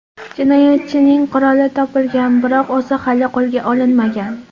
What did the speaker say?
Jinoyatchining quroli topilgan, biroq o‘zi hali qo‘lga olinmagan.